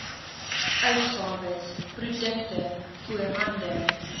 uitgawes produkte voorhande